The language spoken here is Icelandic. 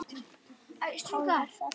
Hárið vex aftur.